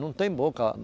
Não tem boca.